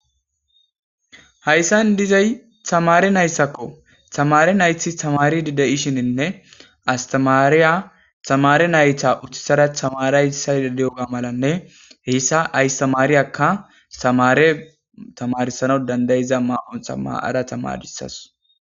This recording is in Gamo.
Hayssani dizay tamare nayitako,tamre nayit tamaridi de'ishine asitamariya nayta uttisada tamarsayida diyoga malane astamareka nayita tamarisanwu danudayida mayo mayada tamrisanwu danidayasu